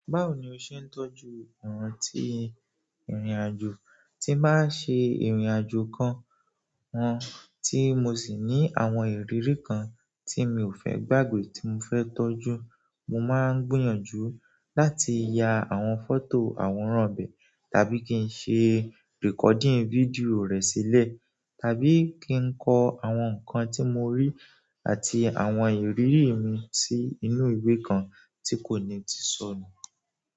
Báwo ni o ṣe ń tọ́jú ìrántí ìrìnàjò, tí n bá ṣe ìrìnàjò kan, wọn, tí mo sì ní àwọn ìrírí kan tí mi ò fẹ́ gbàgbé tí mo fẹ́ tọ́jú, mo máa ń gbìyànjú láti ya àwọn fọ́tò àwòrán an bẹ̀ tàbí kí n ṣe recording fídíò rẹ̀ sílẹ̀ tàbí ki n kọ àwọn nǹkan tí mo rí àti àwọn ìrírí mi sí inú ìwé kan tí kò ní ti sọnù.